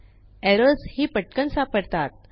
errors ही पटकन सापडतात